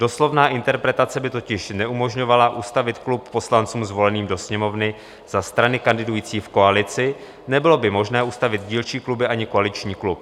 Doslovná interpretace by totiž neumožňovala ustavit klub poslancům zvoleným do Sněmovny za strany kandidující v koalici, nebylo by možné ustavit dílčí kluby ani koaliční klub.